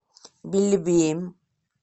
белебеем